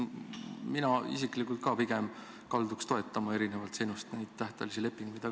Mina isiklikult ka pigem kalduks erinevalt sinust neid tähtajalisi lepinguid toetama.